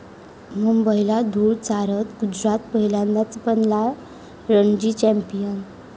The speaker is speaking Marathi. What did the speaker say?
मुंबईला धुळ चारत गुजरात पहिल्यांदाच बनला रणजी चॅम्पियन